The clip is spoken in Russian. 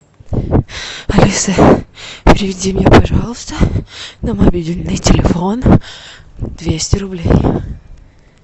алиса переведи мне пожалуйста на мобильный телефон двести рублей